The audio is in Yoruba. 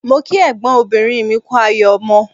Mo kí ẹ̀gbọ́n obìnrin kú ayọ̀ ọmọ